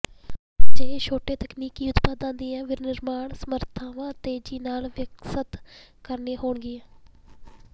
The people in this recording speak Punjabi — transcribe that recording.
ਅਜਿਹੇ ਵਿਚ ਛੋਟੇ ਤਕਨੀਕੀ ਉਤਪਾਦਾਂ ਦੀਆਂ ਵਿਨਿਰਮਾਣ ਸਮਰੱਥਾਵਾਂ ਤੇਜ਼ੀ ਨਾਲ ਵਿਕਸਤ ਕਰਨੀਆਂ ਹੋਣਗੀਆਂ